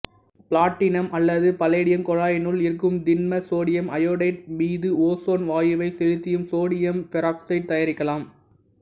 platinum அல்லது palladium குழாயினுள் இருக்கும் திண்ம சோடியம் அயோடைடு மீது ஓசோன் வாயுவைச் செலுத்தியும் சோடியம் பெராக்சைடை தயாரிக்கலாம்